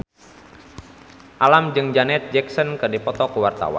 Alam jeung Janet Jackson keur dipoto ku wartawan